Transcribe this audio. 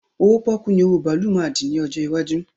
Owó pọ́ọ́kú ni owó bàálù máa dì ní ọjọ́ iwájú